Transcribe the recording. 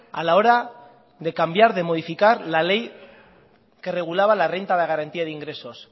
a la hora de cambiar de modificar la ley que regulaba la renta de garantía de ingresos